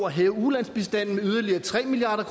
at hæve ulandsbistanden med yderligere tre milliard